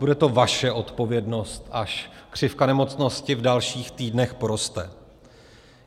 Bude to vaše odpovědnost, až křivka nemocnosti v dalších týdnech poroste.